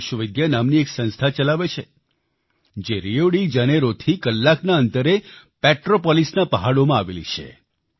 તેઓ વિશ્વવિદ્યા નામની એક સંસ્થા ચલાવે છે જે રિયો ડિ જનેરોથી કલાકના અંતરે પેટ્રોપોલિસના પહાડોમાં આવેલી છે